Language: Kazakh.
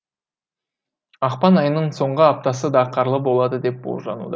ақпан айының соңғы аптасы да қарлы болады деп болжануда